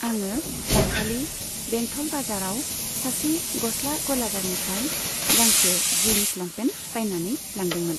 आङो दाखालि बेंथल बाजाराव सासे गस्ला गलादारनिफ्राय गांसे जिन्स लंफेन्ट बायनानै लांदोंमोन।